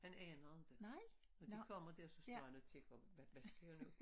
Han aner ikke når de kommer der så står han og tænker hvad hvad skal jeg nå?